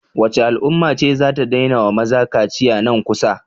Wacce al'umma ce zata daina wa maza kaciya nan kusa?